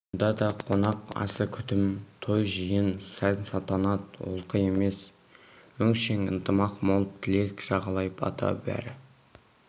мұнда да қонақ асы күтім той-жиын сән-салтанат олқы емес өңшең ынтымақ мол тілек жағалай бата бәрі